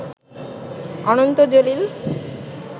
Ananta Jalil